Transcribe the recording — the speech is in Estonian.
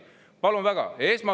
Palun väga!